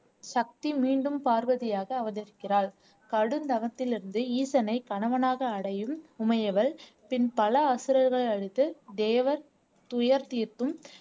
சக்தி மீண்டும் பார்வதியாக அவதரிக்கிறாள் கடும் தவத்திலிருந்து ஈசனை கணவனாக அடையும் உமையவள் பின் பல அசுரர்களை அழித்து தேவர் துயர் தீர்த்தும்